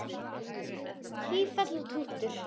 Tífall og Tútur